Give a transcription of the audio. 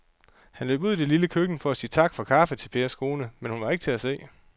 Han løb ud i det lille køkken for at sige tak for kaffe til Pers kone, men hun var ikke til at se.